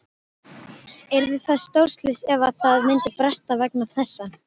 Yrði það stórslys ef að það myndi bresta vegna þessa?